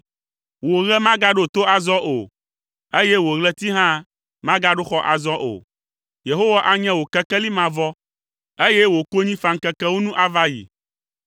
Wò ɣe magaɖo to azɔ o, eye wò ɣleti hã magaɖo xɔ azɔ o. Yehowa anye wò kekeli mavɔ, eye wò konyifaŋkekewo nu ava ayi.